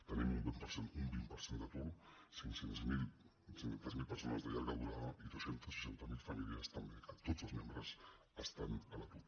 tenim un vint per cent d’atur cinc cents miler persones de llarga durada i dos cents i seixanta miler famílies també que tots els membres estan a l’atur